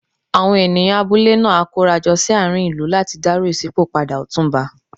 Àwọn ènìyàn abúlé náà á kóra jọ sí àárín ìlú láti dárò ìṣípò padà Ọ̀túnba.